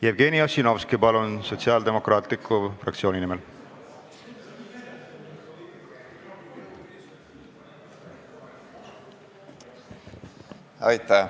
Jevgeni Ossinovski, palun, Sotsiaaldemokraatliku Erakonna fraktsiooni nimel!